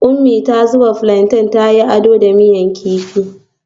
Umi ta zubo plantain ta yi ado da miya kifi